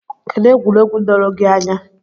Kedụ egwuregwu doro gị anya?